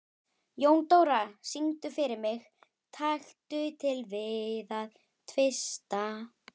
Jóndóra, syngdu fyrir mig „Taktu til við að tvista“.